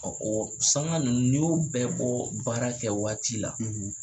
Ɔ o sanka ninnu n'i y'o bɛ baara kɛ waati la,